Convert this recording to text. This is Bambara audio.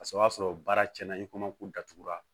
Paseke o y'a sɔrɔ baara cɛn na i kɔmɔkili datugura